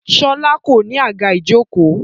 Sọlá kò ní àga ìjókòó